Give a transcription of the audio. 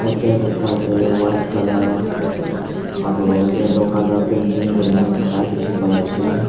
te lecta teh white colour aro yellow colour painting kure ni thaka dikhi pai ase.